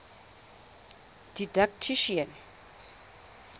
didactician